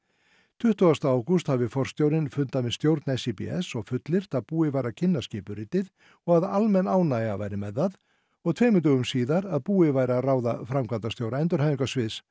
tuttugasti ágúst hafi forstjórinn fundað með stjórn SÍBS og fullyrt að búið væri að kynna skipuritið og almenn ánægja væri með það og tveimur dögum síðar að búið væri að ráða framkvæmdastjóra endurhæfingarsviðs